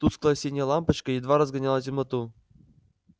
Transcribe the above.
тусклая синяя лампочка едва разгоняла темноту